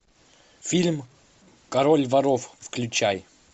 фильм король воров включай